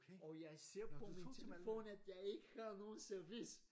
Og jeg ser på min telefon at jeg ikke har noget service!